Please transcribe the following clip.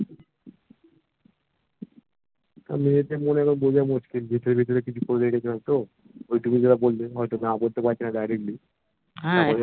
আর মেয়েদের মনেরও বোঝা মুশকিল সে ভেতরে ভিতরে কিছু করে রেখেছে না তো ওই তুমি যেটা বললে হয়তো না বলতে পারছেনা Directly